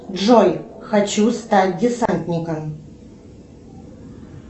джой хочу стать десантником